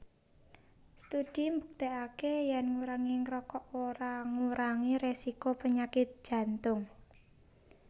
Studi mbuktèkaké yèn ngurangi ngrokok ora ngurangi résiko penyakit Jantung